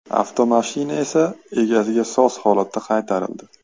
Avtomashina esa egasiga soz holatda qaytarildi.